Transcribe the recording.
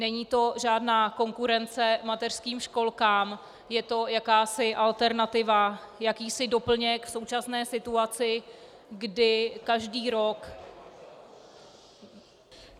Není to žádná konkurence mateřským školkám, je to jakási alternativa, jakýsi doplněk v současné situaci, kdy každý rok...